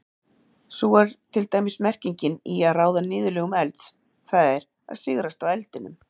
Sú er til dæmis merkingin í að ráða niðurlögum elds, það er sigrast á eldinum.